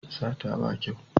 Sata ba kyau